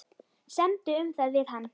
Semdu um það við hann.